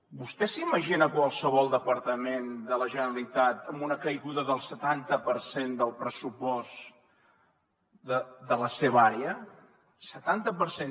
vostè s’imagina qualsevol departament de la generalitat amb una caiguda del setanta per cent del pressupost de la seva àrea setanta per cent